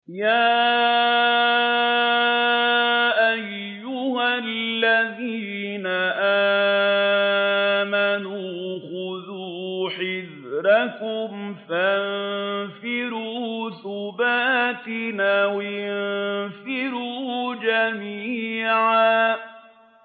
يَا أَيُّهَا الَّذِينَ آمَنُوا خُذُوا حِذْرَكُمْ فَانفِرُوا ثُبَاتٍ أَوِ انفِرُوا جَمِيعًا